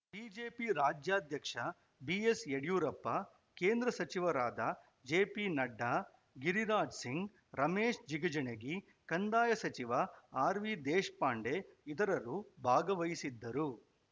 BJP ರಾಜ್ಯಾಧ್ಯಕ್ಷ ಬಿಎಸ್‌ಯಡಿಯೂರಪ್ಪ ಕೇಂದ್ರ ಸಚಿವರಾದ ಜೆಪಿನಡ್ಡಾ ಗಿರಿರಾಜ್‌ ಸಿಂಗ್‌ ರಮೇಶ್‌ ಜಿಗಜಿಣಗಿ ಕಂದಾಯ ಸಚಿವ ಆರ್‌ವಿದೇಶಪಾಂಡೆ ಇತರರು ಭಾಗವಹಿಸಿದ್ದರು